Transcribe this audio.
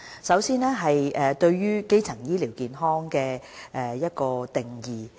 首先是有關"基層醫療健康"的定義。